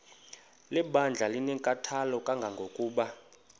lebandla linenkathalo kangangokuba